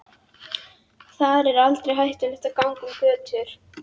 Þar er aldrei hættulegt að ganga um götur.